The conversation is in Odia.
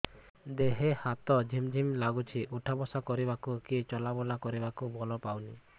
ଦେହେ ହାତ ଝିମ୍ ଝିମ୍ ଲାଗୁଚି ଉଠା ବସା କରିବାକୁ କି ଚଲା ବୁଲା କରିବାକୁ ବଳ ପାଉନି